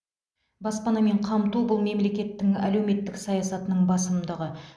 баспанамен қамту бұл мемлекеттің әлеуметтік саясатының басымдығы